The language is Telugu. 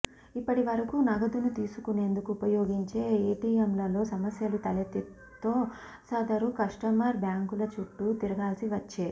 ఇప్పటి వరకు నగదును తీసుకునేందుకు ఉపయోగించే ఏటీఎంలలో సమస్యలు తలెత్తితో సదరు కస్టమర్ బ్యాంకుల చుట్టు తిరగాల్సి వచ్చే